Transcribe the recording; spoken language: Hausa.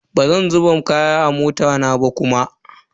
Bazan zuba kaya a bot din mota na ba kuma.